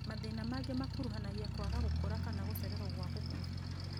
Mathĩna maingĩ makuruhanagia kwaga gũkũra kana gũcererwo gwa gũkũra